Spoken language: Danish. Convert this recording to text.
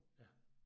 Ja